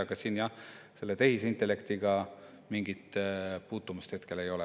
Aga siin jah selle tehisintellektiga mingit puutumust hetkel ei ole.